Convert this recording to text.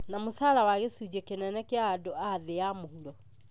na mũcara wa gĩcunjĩ kĩnene kĩa andũ a thĩ ya mũhuro